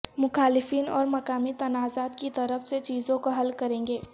مخالفین اور مقامی تنازعات کی طرف سے چیزوں کو حل کریں گے